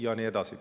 Ja nii edasi.